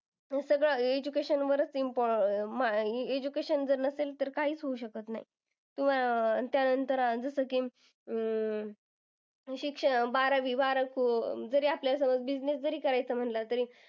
हे सगळं education वरच अह इम्पो अह म्हणजे education जर नसेल तर काहीच होऊ शकत नाही. अह त्यानंतर जसं की अं शिक्षण बारावी अह जरी आपल्याला business जरी करायचा म्हणलं तरी